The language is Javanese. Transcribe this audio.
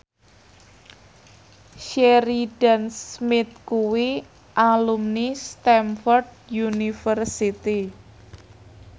Sheridan Smith kuwi alumni Stamford University